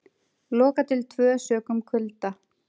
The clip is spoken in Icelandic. Lokað til tvö sökum kulda